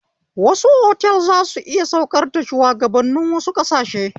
Wasu otal zasu iya saukar da shuwagabannin wasu ƙasashe